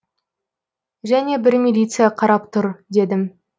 және бір милиция қарап тұр дедім